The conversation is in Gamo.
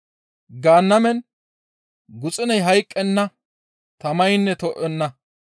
Gaannamen guxuney hayqqenna tamaynne to7enna.